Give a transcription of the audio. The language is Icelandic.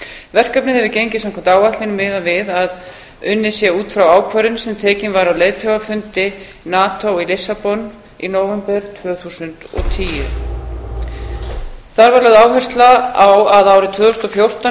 verkefnið hefur gengið samkvæmt áætlun miðað við að unnið sé út frá ákvörðun sem tekin var á leiðtogafundi nato í lissabon í nóvember tvö þúsund og tíu þar var lögð áhersla á að árið tvö þúsund og fjórtán yrði